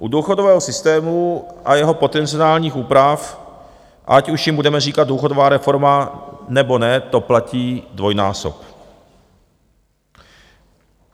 U důchodového systému a jeho potenciálních úprav, ať už jim budeme říkat důchodová reforma, nebo ne, to platí dvojnásob.